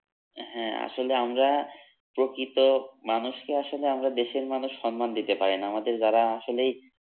হ্যাঁ আসলে আমরা প্রকৃত মানুষকে আসলে আমরা দেশের মানুষ সম্মান দিতে পারি না আমাদের যারা আসলেই